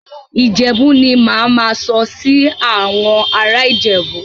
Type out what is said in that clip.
Ìjẹ́bú ni mà á máa sọ sí àwọn ará Ìjẹ̀bú.